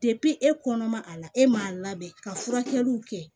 e kɔnɔ ma a la e m'a labɛn ka furakɛliw kɛ